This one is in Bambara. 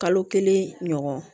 Kalo kelen ɲɔgɔn